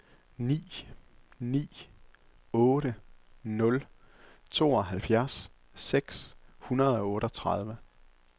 ni ni otte nul tooghalvfjerds seks hundrede og otteogtredive